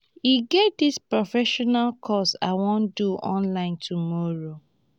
e get dis professional course i wan do online tomorrow